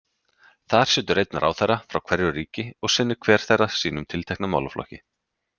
Þar situr einn ráðherra frá hverju ríki og sinnir hver þeirra sínum tiltekna málaflokki.